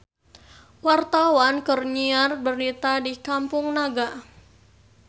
Wartawan keur nyiar berita di Kampung Naga